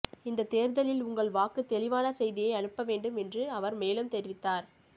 இந்ததேர்தலில் உங்கள் வாக்கு தெளிவான செய்தியை அனுப்பவேண்டும் என்று அவர் மேலும் தெரிவித்தார்